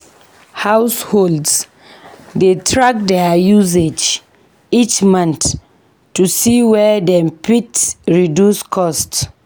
Households dey track their usage each month to see where dem fit reduce costs.